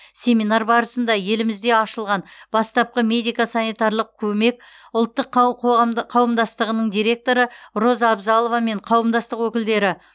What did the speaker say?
семинар барысында елімізде ашылған бастапқы медико санитарлық көмек ұлттық қауымдастығының директоры роза абзалова мен қауымдастық өкілдері